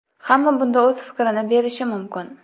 Hamma bunda o‘z fikrini berishi mumkin.